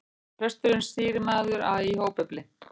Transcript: Presturinn stýrimaður í hópefli.